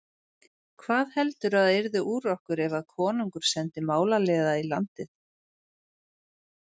Hvað heldurðu að yrði úr okkur ef konungur sendi málaliða í landið?